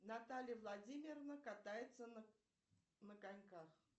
наталья владимировна катается на коньках